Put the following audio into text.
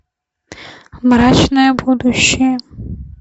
мрачное будущее